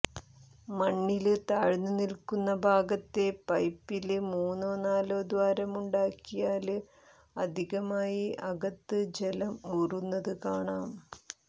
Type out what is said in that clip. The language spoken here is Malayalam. മണ്ണില് താഴ്ന്നുനില്ക്കുന്ന ഭാഗത്തെ പൈപ്പില് മൂന്നോ നാലോ ദ്വാരമുണ്ടാക്കിയാല് അധികമായി അകത്ത് ജലം ഊറുന്നത് ഇല്ലാതാക്കാം